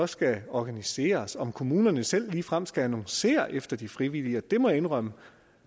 skal organiseres og om kommunerne selv ligefrem skal annoncere efter de frivillige det må jeg indrømme